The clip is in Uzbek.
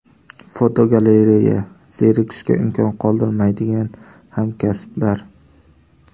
Fotogalereya: Zerikishga imkon qoldirmaydigan hamkasblar.